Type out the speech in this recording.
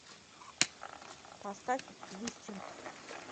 поставь вистинг